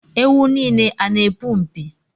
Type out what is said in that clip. Ewu n'ile a n'epu mpi